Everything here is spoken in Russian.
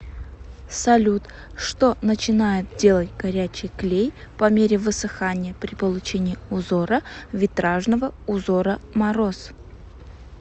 салют что начинает делать горячий клей по мере высыхания при получении узора витражного узора мороз